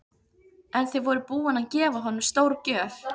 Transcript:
En þið voruð búin að gefa honum stórgjöf.